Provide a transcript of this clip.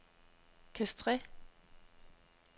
Castres